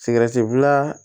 Sigɛrɛti bila